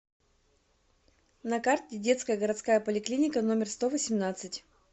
на карте детская городская поликлиника номер сто восемнадцать